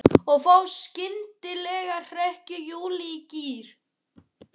Og þá skyndilega hrekkur Júlía í gír.